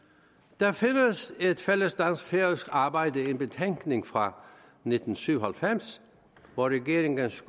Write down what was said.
der findes et fælles dansk færøsk arbejde en betænkning fra nitten syv og halvfems hvor regeringens